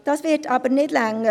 Dies wird aber nicht reichen.